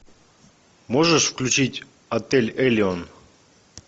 можешь включить отель элеон